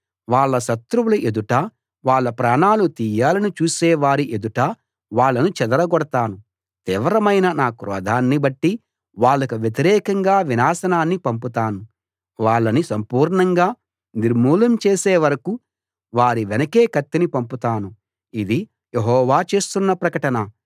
వాళ్ళ శత్రువుల ఎదుటా వాళ్ళ ప్రాణాలు తీయాలని చూసే వారి ఎదుటా వాళ్ళను చెదరగొడతాను తీవ్రమైన నా క్రోధాన్ని బట్టి వాళ్లకు వ్యతిరేకంగా వినాశనాన్ని పంపుతాను వాళ్ళని సంపూర్ణంగా నిర్మూలం చేసే వరకూ వారి వెనకే కత్తిని పంపుతాను ఇది యెహోవా చేస్తున్న ప్రకటన